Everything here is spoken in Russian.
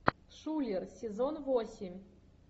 шулер сезон восемь